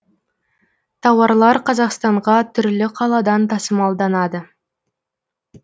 тауарлар қазақстанға түрлі қаладан тасымалданады